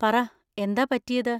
പറ, എന്താ പറ്റിയത്?